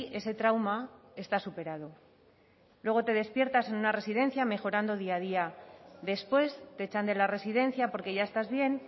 ese trauma está superado luego te despiertas en una residencia mejorando día a día después te echan de la residencia porque ya estás bien